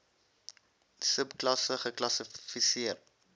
sub klasse geklassifiseer